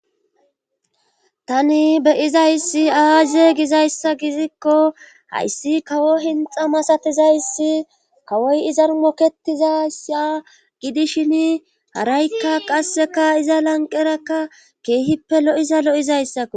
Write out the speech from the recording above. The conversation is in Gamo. tani beyizayssi aazeygizayssa gidikko hayssi kawo hinxa masatizayssi kawoy izan moketizayssi a gidishin haraykka qasseka iza lanqerakka keehippe lo7iza lo7izayssako